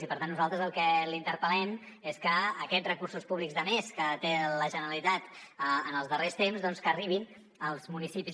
i per tant nosaltres a què la interpel·lem és perquè aquests recursos públics de més que té la generalitat en els darrers temps doncs que arribin als municipis